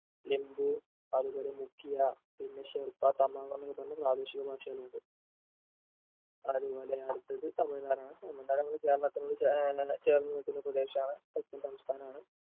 എംമ്പൂ അതുപോലെ മുഖ്യ പിന്നെ ഷെർപ്പ തമാമ് പല പ്രാദേശിക ഭാഷകളുണ്ട് അത്പോലെ അടുത്തത് തമിഴ്നാട് ആണ് തമിഴ്നാട് നമ്മുടെ കേരളത്തിനോട് ചേർന്ന് ഏർ ചേർന്നു നിൽക്കുന്ന പ്രദേശാണ് തൊട്ട സംസ്ഥാനാണ്